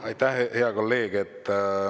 Aitäh, hea kolleeg!